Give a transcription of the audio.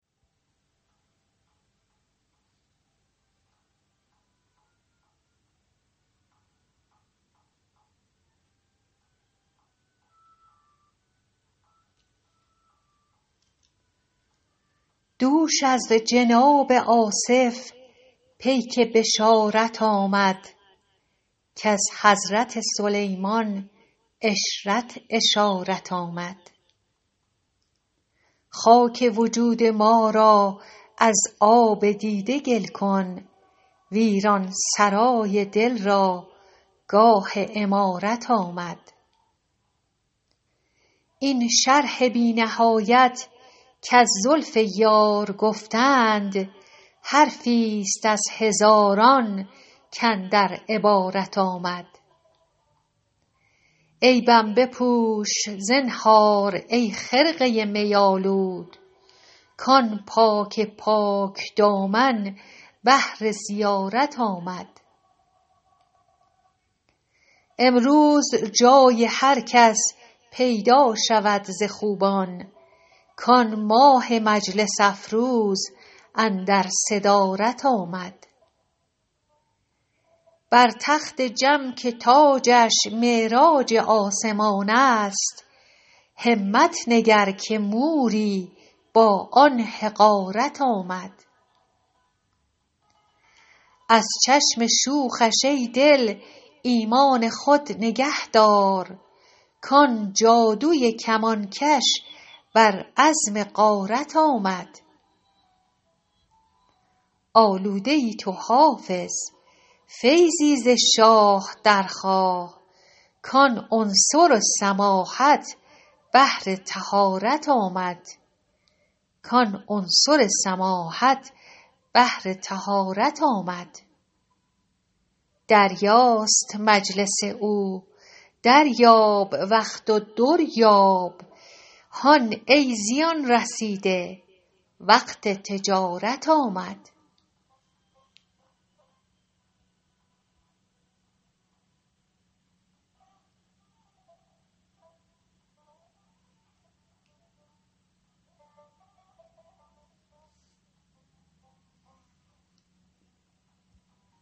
دوش از جناب آصف پیک بشارت آمد کز حضرت سلیمان عشرت اشارت آمد خاک وجود ما را از آب دیده گل کن ویران سرای دل را گاه عمارت آمد این شرح بی نهایت کز زلف یار گفتند حرفی ست از هزاران کاندر عبارت آمد عیبم بپوش زنهار ای خرقه می آلود کآن پاک پاک دامن بهر زیارت آمد امروز جای هر کس پیدا شود ز خوبان کآن ماه مجلس افروز اندر صدارت آمد بر تخت جم که تاجش معراج آسمان است همت نگر که موری با آن حقارت آمد از چشم شوخش ای دل ایمان خود نگه دار کآن جادوی کمانکش بر عزم غارت آمد آلوده ای تو حافظ فیضی ز شاه درخواه کآن عنصر سماحت بهر طهارت آمد دریاست مجلس او دریاب وقت و در یاب هان ای زیان رسیده وقت تجارت آمد